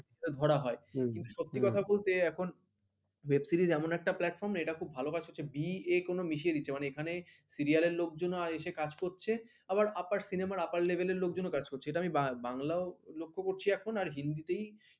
web series এমন একটা platform এটা খুব ভাল কাজ করছে যেটা b, a সব মিশিয়ে দিচ্ছে মানে এখানে serial লোকজন এসে কাজ করছে আবার আপার cinema র আপার level লোকজনও কাজ করছে এটা আমি বা বাংলায়ও লক্ষ্য করছি এখন আর হিন্দিতেই